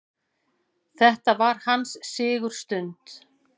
Þetta var hans sigurstund.